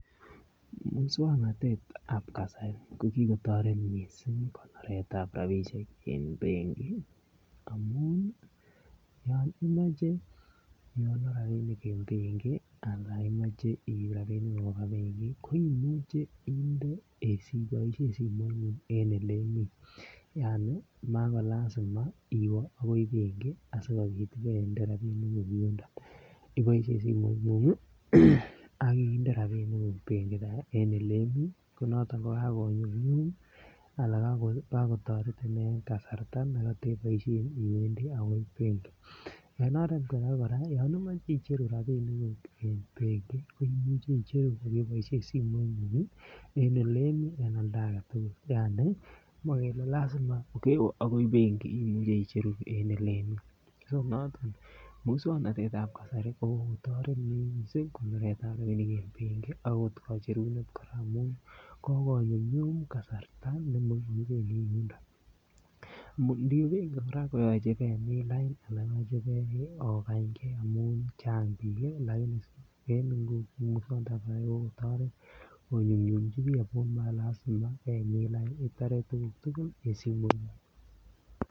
Moswoknatet ab kasari ko ki kotoret mising konoret ab rabisiek en bik amun yon imoche igonor rabinik en benki yon imoche iib rabinik koba benki koimuche inde iboisien simoingung en olemii yaani mako lazima iwe agoi benki asi iwende rabiniguk yuniton iboisien simoingung ak inde rabiniguk benki en Ole imi ko noton ko kagonyumnyum anan kagotoretin en kasarta nekoteboisien iwendi agoi benki en oret age kora yon imoche icheru rabinik en benki koimuche icheru kokeboisien simoingung en olemii anan oldo age tugul ma lazima iwe agoi benki imuche icheru en Ole Imii so noton moswoknatet ab kasari ko kokotoret mising konoret ab rabinik en benki okot kacherunet kora amun kogonyum nyum kasarta nemokibendi yuniton iniwe benki kora koyoche ibemin lain ak ogany ge amun Chang bik lakini en nguni moswoknatet ab kasari ko kotoret konyumnyumchi bik ago mako lazima kemin lainit itore tuguk tugul en simoingung